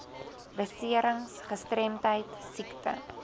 beserings gestremdheid siekte